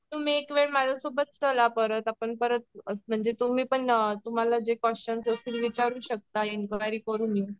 तुम्ही एकावेळेस माझ्यासोबत चला परत आपण परत म्हणजे तुम्ही पण तुम्हाला पण जे क्वेशन्स असतील विचारू शकता इन्क्वायरी करून येऊ.